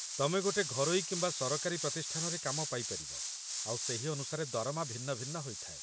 ତମେ ଗୋଟେ ଘରୋଇ କିମ୍ବା ସରକାରୀ ପ୍ରତିଷ୍ଠାନରେ କାମ ପାଇପାରିବ, ଆଉ ସେହି ଅନୁସାରେ ଦରମା ଭିନ୍ନ ଭିନ୍ନ ହୋଇଥାଏ